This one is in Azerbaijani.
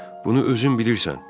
Bunu özün bilirsən.